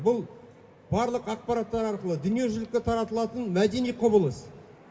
бұл барлық ақпараттар арқылы дүниежүзілікке таратылатын мәдени құбылыс